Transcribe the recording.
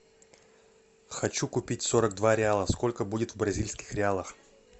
хочу купить сорок два реала сколько будет в бразильских реалах